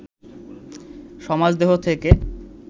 সমাজদেহ থেকে